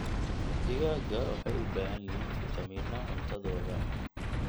Digaagga waxay u baahan yihiin fitamiino cuntadooda.